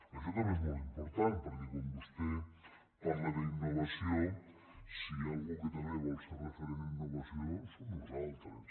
això també és molt important perquè quan vostè parla d’innovació si hi ha algú que també vol ser referent en innovació som nosaltres